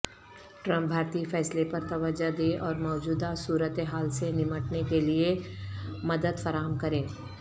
Trump بھارتی فیصلے پر توجہ دیں اور موجودہ صورتحال سے نمٹنے کیلئے مددفراہم کریں